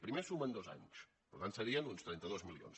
primer sumen dos anys per tant serien uns trenta dos milions